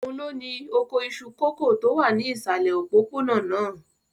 Òun ló ni oko iṣu kòkó tó wà ní ìsàlẹ̀ òpópónà náà?